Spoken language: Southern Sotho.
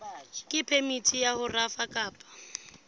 phemiti ya ho rafa kapa